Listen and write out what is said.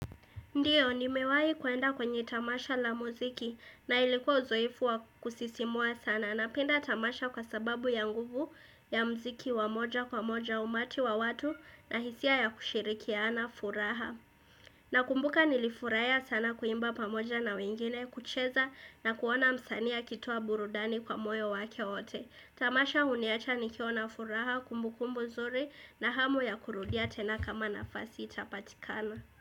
Ndiyo nimewahi kuenda kwenye tamasha la muziki na ilikuwa uzoefu wa kusisimua sana napenda tamasha kwa sababu ya nguvu ya muziki wa moja kwa moja umati wa watu na hisia ya kushirikiana furaha. Nakumbuka nilifurahia sana kuimba pamoja na wengine kucheza na kuona msanii akitoa burudani kwa moyo wake wote. Tamasha huniacha nikiwa na furaha kumbukumbu nzuri na hamu ya kurudia tena kama nafasi itapatikana.